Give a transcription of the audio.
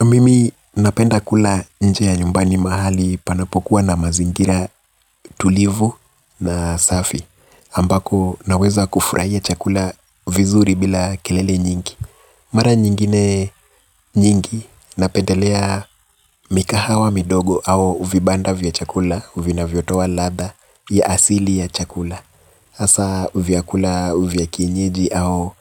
Mimi napenda kula nje ya nyumbani mahali panapokuwa na mazingira tulivu na safi ambako naweza kufurahia chakula vizuri bila kelele nyingi. Mara nyingine nyingi napendelea mikahawa midogo au vibanda vya chakula vinavyotoa ladha ya asili ya chakula hasa vyakula vya kienyeji au